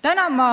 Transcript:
Täna võin ma